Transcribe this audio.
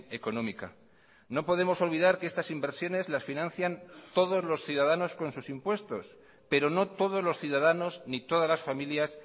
económica no podemos olvidar que estas inversiones las financian todos los ciudadanos con sus impuestos pero no todos los ciudadanos ni todas las familias